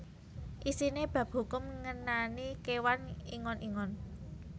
Isiné bab hukum ngenani kéwan ingon ingon